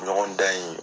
Ɲɔgɔn dan in